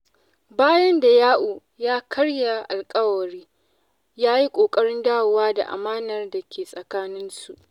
Bayan da Ya’u ya karya alƙawari, ya yi ƙoƙarin dawo da amanar da ke tsakaninsu.